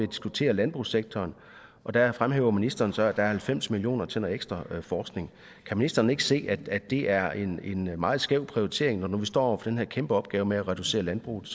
diskuterer landbrugssektoren og der fremhæver ministeren så at der er halvfems million kroner til noget ekstra forskning kan ministeren ikke se at det er en meget skæv prioritering når nu vi står over for den her kæmpe opgave med at reducere landbrugets